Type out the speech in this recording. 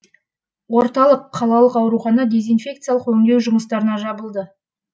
орталық қалалық аурухана дезинфекциялық өңдеу жұмыстарына жабылды